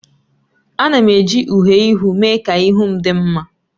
Ana m eji uhiè ihu mee ka ihu m dị mma